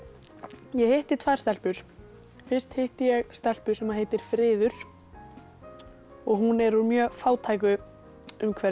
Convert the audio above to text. ég hitti tvær stelpur fyrst hitti ég stelpu sem heitir friður og hún er úr mjög fátæku umhverfi